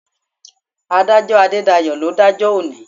Adájọ́ Adédayọ̀ ló ń dájọ́ òní.